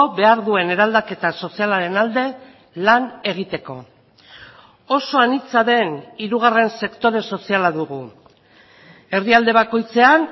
behar duen eraldaketa sozialaren alde lan egiteko oso anitza den hirugarren sektore soziala dugu herrialde bakoitzean